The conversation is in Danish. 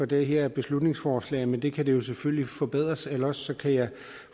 det her beslutningsforslag men det kan selvfølgelig forbedres eller også kan jeg